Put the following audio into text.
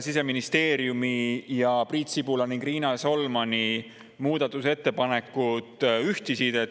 Siseministeeriumi ning Priit Sibula ja Riina Solmani muudatusettepanekud ühtisid.